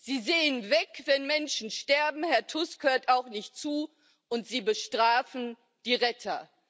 Sie sehen weg, wenn Menschen sterben, Herr Tusk hört auch nicht zu, und sie bestrafen die Retter.